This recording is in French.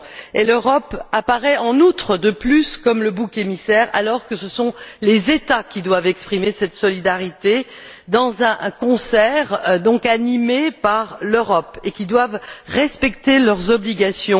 Et l'Europe apparaît, en outre, comme le bouc émissaire, alors que ce sont les États qui doivent exprimer cette solidarité dans un concert animé par l'Europe, et qui doivent respecter leurs obligations.